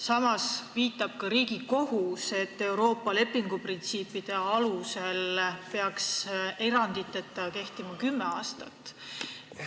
Samas viitab ka Riigikohus, et Euroopa lepinguprintsiipide kohaselt peaks eranditeta kehtima kümme aastat.